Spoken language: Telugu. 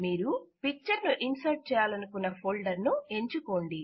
మీరు పిక్చర్ ను ఇన్సర్ట్ చేయాలనుకున్న ఫోల్డర్ ను ఎంచుకోండి